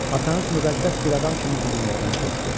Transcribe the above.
Atanız müqəddəs bir adam kimi bu dünyadan köçdü.